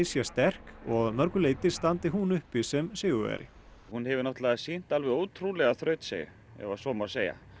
sé sterk og að mörgu leyti standi hún uppi sem sigurvegari hún hefur náttúrulega sýnt alveg ótrúlega þrautseigju ef svo má segja